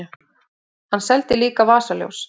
Hann seldi líka vasaljós.